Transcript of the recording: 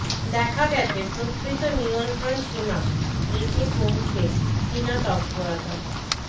দেখা গেছে প্রকৃত নিয়ন্ত্রণ সীমা রেখেয় কমছে চিনা তৎপরতা